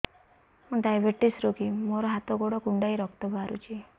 ମୁ ଡାଏବେଟିସ ରୋଗୀ ମୋର ହାତ ଗୋଡ଼ କୁଣ୍ଡାଇ ରକ୍ତ ବାହାରୁଚି